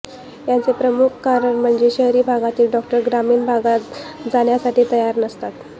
याचे प्रमुख कारण म्हणजे शहरी भागातील डॉक्टर ग्रामीण भागात जाण्यासाठी तयार नसतात